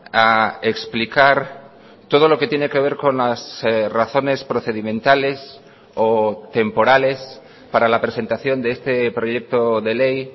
a explicar todo lo que tiene que ver con las razones procedimentales o temporales para la presentación de este proyecto de ley